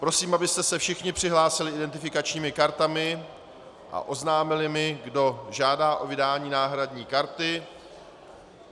Prosím, abyste se všichni přihlásili identifikačními kartami a oznámili mi, kdo žádá o vydání náhradní karty.